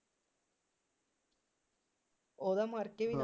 ਉਹਦਾ ਮਰਕੇ ਵੀ ਨਾਂ